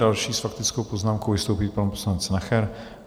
Další s faktickou poznámkou vystoupí pan poslanec Nacher.